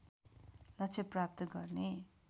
लक्ष्य प्राप्त गर्ने